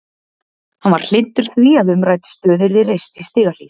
Hann var hlynntur því að umrædd stöð yrði reist í Stigahlíð.